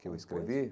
Que eu escrevi?